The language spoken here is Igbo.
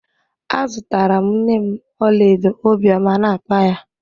A zụtara m nne m ọlaedo obiọma a na-akpa ya.